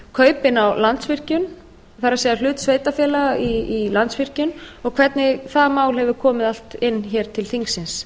kaupin á landsvirkjun það er hlut sveitarfélaga í landsvirkjun og hvernig það mál hefur komið allt inn hér til þingsins